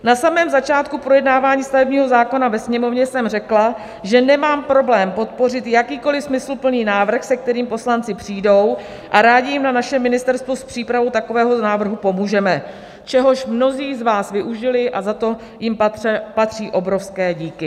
Na samém začátku projednávání stavebního zákona ve Sněmovně jsem řekla, že nemám problém podpořit jakýkoliv smysluplný návrh, se kterým poslanci přijdou, a rádi jim na našem ministerstvu s přípravou takového návrhu pomůžeme, čehož mnozí z vás využili a za to jim patří obrovské díky.